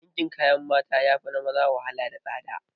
Dinkin kayan mata yafi na maza wahala da tsada